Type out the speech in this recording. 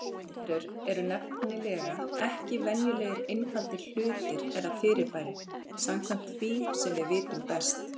Lífverur eru nefnilega ekki venjulegir einfaldir hlutir eða fyrirbæri, samkvæmt því sem við vitum best.